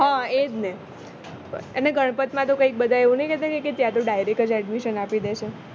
હ એ જ ને અને ગણપત માં તો કઈ બધા એવું નહિ કેસે કે ત્યાં તો direct જ admission આપી દે છે